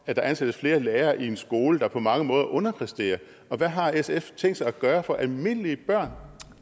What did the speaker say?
at der ansættes flere lærere i en skole der på mange måder underpræsterer og hvad har sf tænkt sig at gøre for at almindelige børn